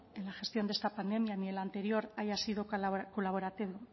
en la gestión de esta pandemia ni en la anterior haya sido colaborativo